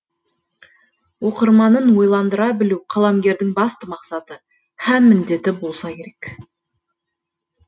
оқырманын ойландыра білу қаламгердің басты мақсаты һәм міндеті болса керек